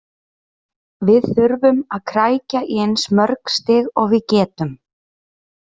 Við þurfum að krækja í eins mörg stig og við getum.